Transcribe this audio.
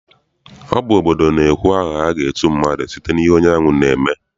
Ọ bụ obodo na-ekwu aha aga etu mmadụ site n'ihe onye ahụ na-eme.